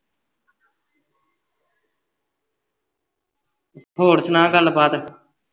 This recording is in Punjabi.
ਹੋਰ ਸੁਣਾ ਗੱਲ ਬਾਤ